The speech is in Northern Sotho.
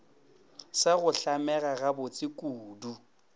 sa go hlamega gabotse kudu